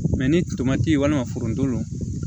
ni tomati walima foronto